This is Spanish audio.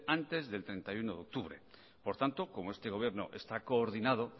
antes del treinta y uno de octubre por tanto como este gobierno está coordinado